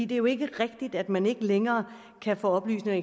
det er jo ikke rigtigt at man ikke længere kan få oplysninger